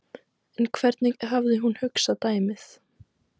En hvernig hafði hún hugsað dæmið?